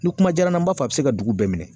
Ni kuma jara n b'a fɔ a bi se ka dugu bɛɛ minɛ.